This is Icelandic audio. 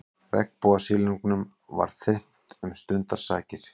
Regnbogasilungnum var þyrmt um stundarsakir.